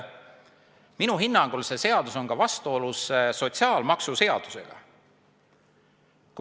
Minu hinnangul on see seadus vastuolus ka sotsiaalmaksuseadusega.